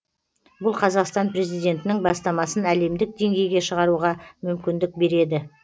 бұл қазақстан президентінің бастамасын әлемдік деңгейге шығаруға мүмкіндік береді